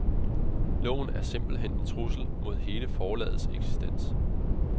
Loven er simpelt hen en trussel mod hele forlagets eksistens.